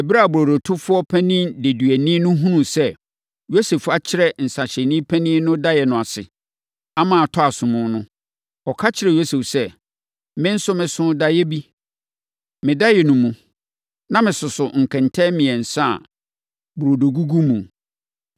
Ɛberɛ a burodotofoɔ panin deduani no hunuu sɛ Yosef akyerɛ nsãhyɛfoɔ panin no daeɛ no ase, ama atɔ asom no, ɔka kyerɛɛ Yosef sɛ, “Me nso, mesoo daeɛ bi. Me daeɛ no mu, na mesoso nkɛntɛn mmiɛnsa a burodo gugu mu.